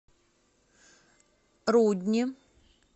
рудни